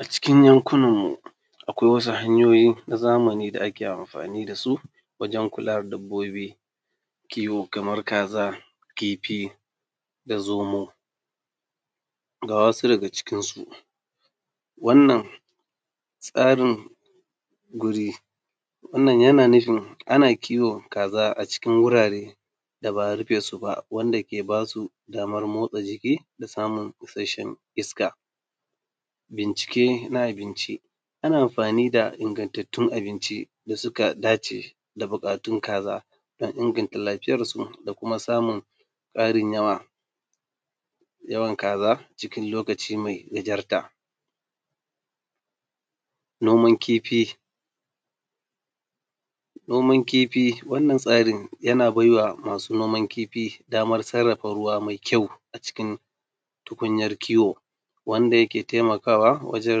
A cikin yan kunanmu akwai wasu hanyoyi na zamani wanda ake anfani da su wajen kula da dabbobi kiwo kaman kaza, kifi da zomu, ga wasu daga cikinsu: yana nufin ana kiwon kaza a cikin wurare da ba arife su ba wanda ke ba su motsa jiki da samun isashshen iska bincike na abinci ana anfani da ingantattun abincin wanda suka dace da buƙatun kaza don inganta lafiyansu da kuma ƙarin samun yawa kaza cikin lokaci me gajarta. Noman kifi, noman kifi wannan tsarin yana baiwa masu kiwon kifi daman sarrafa ruwa me kyau a cikin tukunyan kiwo wanda yake taimakawa wajen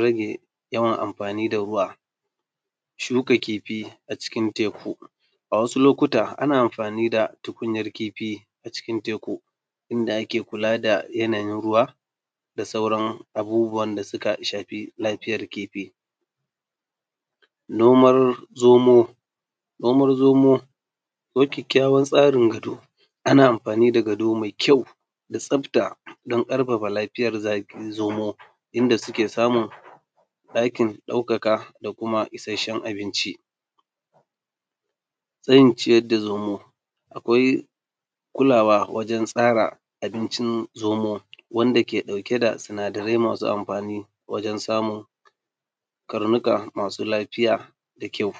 rage yawan amfani da ruwa, shuka kifi a cikin teku a wasu lokuta ana amfani da tukunyan kifi a cikin teku yanda ake kula da yanayin ruwa da sauran abubuwan da suka shafi rayuwan kifi. Noman zomo, noman zomo ana amfani da gado da tsafta don ƙarfafa lafiyan zomo inda suke samun ɗakin ɗaukaka da kuma isashsen abinci. Tsarin ciyar da zomo, akwai kulawa wajen tsara abincin zomo wanda ke ɗauke da sinadarai masu anfani wajen samun karnuka masu lafiya da kyau.